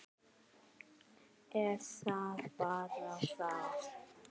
Er það bara þar?